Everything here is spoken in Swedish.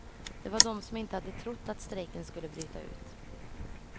Det var de som inte hade trott att strejken skulle bryta ut.